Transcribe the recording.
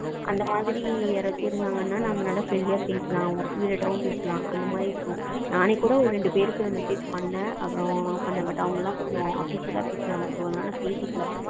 அந்த மாதிரி யாராச்சும் இருந்தாங்கன்னா நம்ம நல்லா friendly அ பேசலாம் work related காவும் பேசலாம் அந்த மாதிரி இருக்கும் நானே கூட ரெண்டு பேருக்கு message பண்ணேன் அப்புறம் but அவங்க எல்லாம் official அ பேசுனாங்க so அதனால பேசிக்கலா